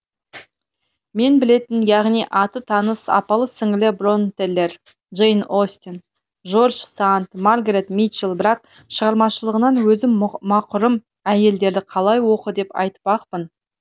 мен білетін яғни аты таныс апалы сіңілі бронтелер джейн остен жорж санд маргарет митчел бірақ шығармашылығынан өзім мақұрым әйелдерді қалай оқы деп айтпақпын